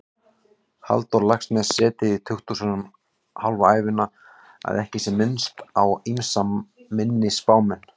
Halldór Laxness setið í tukthúsum hálfa ævina, að ekki sé minnst á ýmsa minni spámenn.